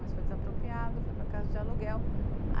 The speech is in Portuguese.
Mas foi desapropriado, foi para casa de aluguel.